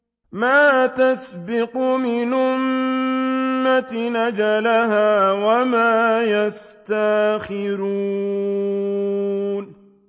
مَا تَسْبِقُ مِنْ أُمَّةٍ أَجَلَهَا وَمَا يَسْتَأْخِرُونَ